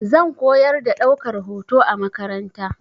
Zan koyar da ɗaukar hoto a makaranta.